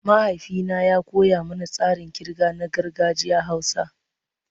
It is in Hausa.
Mahaifina ya koya mana tsarin kirga na gargajiyar Hausa.